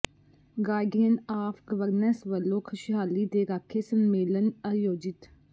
guardian of governance ਵਲੋਂ ਖੁਸ਼ਹਾਲੀ ਦੇ ਰਾਖੇ ਸੰਮੇਲਨ ਆਯੋਜਿਤ